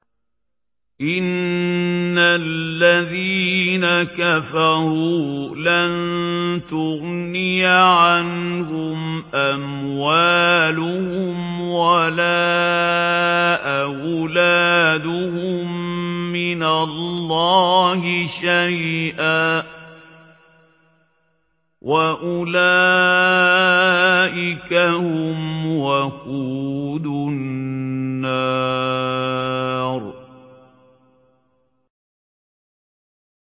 إِنَّ الَّذِينَ كَفَرُوا لَن تُغْنِيَ عَنْهُمْ أَمْوَالُهُمْ وَلَا أَوْلَادُهُم مِّنَ اللَّهِ شَيْئًا ۖ وَأُولَٰئِكَ هُمْ وَقُودُ النَّارِ